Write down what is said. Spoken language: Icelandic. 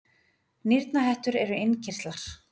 nýrnahettur eru innkirtlar